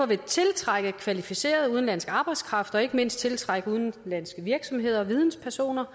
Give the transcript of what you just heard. vil tiltrække kvalificeret udenlandsk arbejdskraft og ikke mindst tiltrække udenlandske virksomheder og videnspersoner